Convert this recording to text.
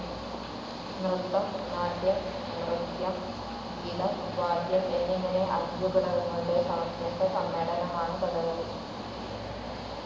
നൃത്തം, നാട്യം, നൃത്യം, ഗീതം, വാദ്യം എന്നിങ്ങനെ അഞ്ചു ഘടകങ്ങളുടെ സമഞ്ജസ സമ്മേളനമാണ്‌ കഥകളി.